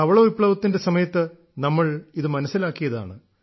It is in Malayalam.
ധവള വിപ്ലവത്തിന്റെ സമയത്ത് നമ്മൾ ഇത് മനസ്സിലാക്കിയതാണ്